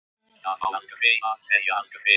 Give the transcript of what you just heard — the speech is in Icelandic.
Það á aldrei að segja aldrei.